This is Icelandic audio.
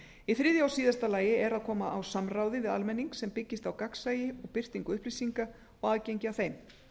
í þriðja og síðasta lagi er að koma á samráði við almenning sem byggist á gagnsæi og birtingu upplýsinga og aðgengi að þeim